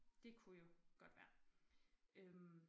Det kunne jo godt være øh